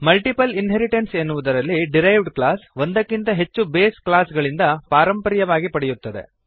multiple inheritance ಎನ್ನುವುದರಲ್ಲಿ derived class ಒಂದಕ್ಕಿಂತ ಹೆಚ್ಚು ಬೇಸ್ ಕ್ಲಾಸ್ ಗಳಿಂದ ಪಾರಂಪರ್ಯವಾಗಿ ಪಡೆಯುತ್ತದೆ